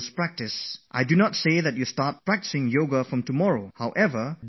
But those who are already practising Yoga should not stop it during exam time